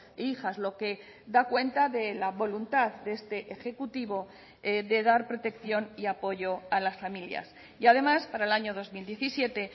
e hijas lo que da cuenta de la voluntad de este ejecutivo de dar protección y apoyo a las familias y además para el año dos mil diecisiete